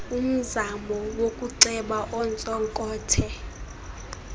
umzamo wokuceba ontsonkothe